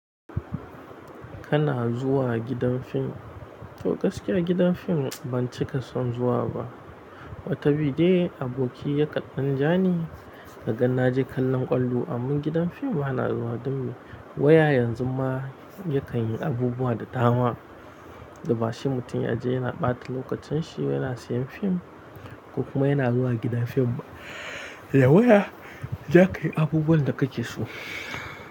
Kana zuwa gidan film? To gaskiya gidan film ban cika son zuwa ba. Wata bi dai aboki yaka ɗan ja ni, yagan na je kallon ƙwallo. Amman gidan film bana zuwa domin waya yanzu ma ya kan yi abubuwa da dama. Basai mutum ya je yana ɓata lokacinshi yana siyan film ko kuma yana zuwa gidan fim. Yaya zaka yi abubuwan da kake so?